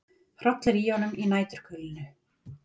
Hrollur í honum í næturkulinu.